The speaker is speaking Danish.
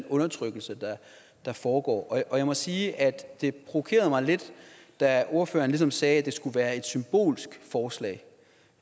undertrykkelse der foregår og jeg må sige at det provokerede mig lidt da ordføreren sagde at det skulle være et symbolsk forslag